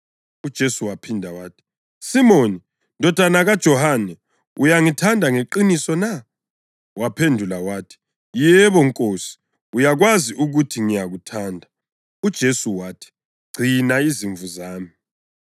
UJesu waphinda wathi, “Simoni, ndodana kaJohane, uyangithanda ngeqiniso na?” Waphendula wathi, “Yebo, Nkosi, uyakwazi ukuthi ngiyakuthanda.” UJesu wathi, “Gcina izimvu zami.”